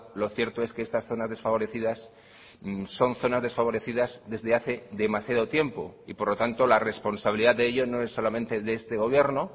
lo cierto es que estas zonas desfavorecidas son zonas desfavorecidas desde hace demasiado tiempo y por lo tanto la responsabilidad de ello no es solamente de este gobierno